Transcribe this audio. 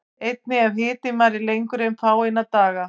Einnig ef hitinn varir lengur en fáeina daga.